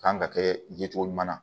Kan ka kɛ ye cogo ɲuman na